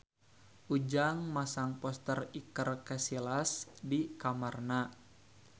Ujang masang poster Iker Casillas di kamarna